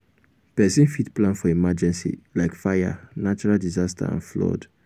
person fit plan for emergency like fire natural disaster and flood